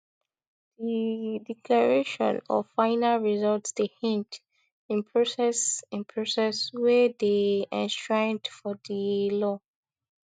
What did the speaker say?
di declaration of final results dey hinged in process in process wey dey enshrined for di law